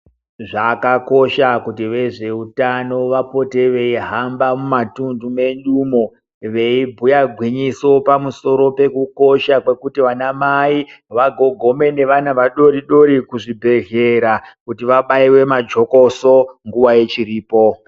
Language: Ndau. Zvakakosha kuti vezveutano vapote veihamba mumatundu medu umo veibhuya gwinyiso pamusoro pekukosha kwekuti vana mai vagogome nevana vadoridori kuzvibhedhlera kuti vabaiwe majokoso nguwa ichiripo.